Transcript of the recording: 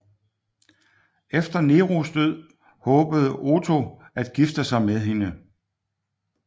Efter Neros død håbede Otho at gifte sig med hende